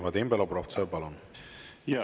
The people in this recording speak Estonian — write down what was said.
Vadim Belobrovtsev, palun!